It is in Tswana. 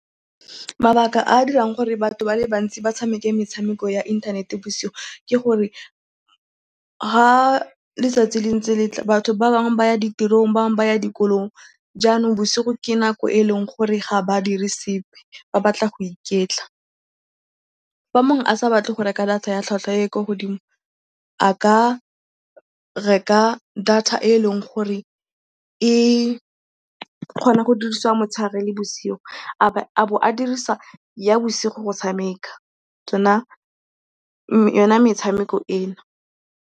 Mabaka a a dirang gore batho ba le bantsi ba tshameke metshameko ya inthanete bosigo ke gore fa letsatsi le ntse le tla, batho ba bangwe ba ya ditirong, ba bangwe ba ya dikolong jaanong bosigo ke nako e e leng gore ga ba dire sepe, ba batla go iketla. Fa mongwe a sa batle go reka data ya tlhwatlhwa e e kwa godimo, a ka reka data e e leng gore e kgona go dirisiwa motshegare le bosigo a bo a dirisa ya bosigo go tshameka yona metshameko eno.